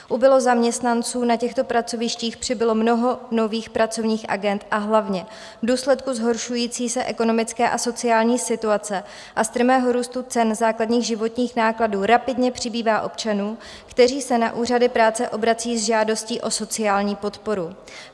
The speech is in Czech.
Ubylo zaměstnanců na těchto pracovištích, přibylo mnoho nových pracovních agend, a hlavně v důsledku zhoršující se ekonomické a sociální situace a strmého růstu cen základních životních nákladů rapidně přibývá občanů, kteří se na úřady práce obrací s žádostí o sociální podporu.